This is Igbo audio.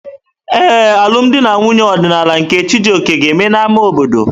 Ee, alụm di na nwunye ọdịnala nke Chijioke ga-eme n'ámá obodo.